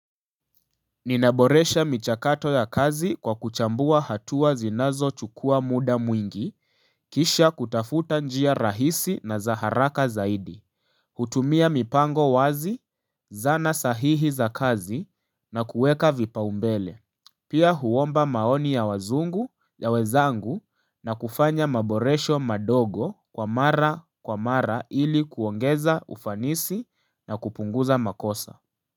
Ninaboresha michakato ya kazi kwa kuchambua hatua zinazo chukua muda mwingi, kisha kutafuta njia rahisi na za haraka zaidi. Hutumia mipango wazi, zana sahihi za kazi na kuweka vipaumbele. Pia huomba maoni ya wazungu ya wezangu na kufanya maboresho madogo kwa mara kwa mara ili kuongeza ufanisi na kupunguza makosa.